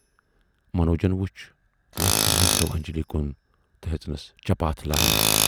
منوجن وُچھ وونکھٕ نظرو انجلی کُن تہٕ ہیژانَس چپاتھ لایِنۍ۔